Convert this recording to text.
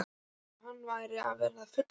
Það var eins og hann væri að verða fullorðinn.